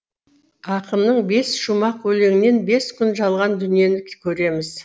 ақынның бес шумақ өлеңінен бес күн жалған дүниені көреміз